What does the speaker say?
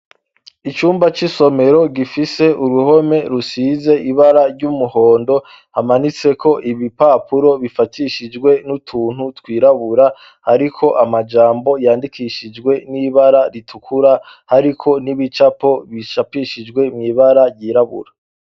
Icumba c'isomero gifise uruhome rusize ibara ry'umuhondo, hamanitse ko ibipapuro bifatishijwe n'utuntu twirabura ariko amajambo yandikishijwe n'ibara ritukura ariko n'ibicapo bishapishijwe muibara ryirabura.